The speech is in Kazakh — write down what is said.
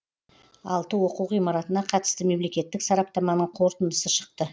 алты оқу ғимаратына қатысты мемлекеттік сараптаманың қорытындысы шықты